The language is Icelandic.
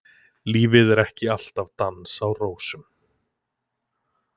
Lífið er ekki alltaf dans á rósum.